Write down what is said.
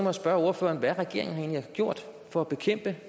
at spørge ordføreren hvad regeringen egentlig har gjort for at bekæmpe